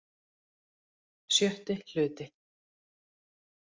VI Hluti